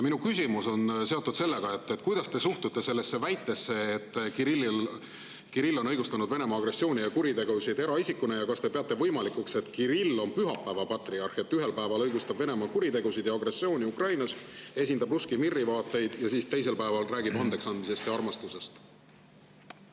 Minu küsimus on selline: kuidas te suhtute sellesse väitesse, et Kirill on õigustanud Venemaa agressiooni ja kuritegusid eraisikuna, ja kas te peate võimalikuks, et Kirill on pühapäeva patriarh: ühel päeval õigustab Venemaa kuritegusid ja agressiooni Ukrainas, esindab Russki Miri vaateid, aga siis teisel päeval räägib andeks andmisest ja armastusest?